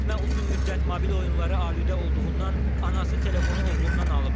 Yeniyetmə uzun müddət mobil oyunlara aludə olduğundan anası telefonu oğlundan alıb.